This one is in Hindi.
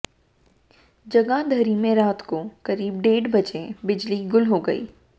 जगाधरी में रात को करीब डेढ़ बजे बिजली गुल हो गई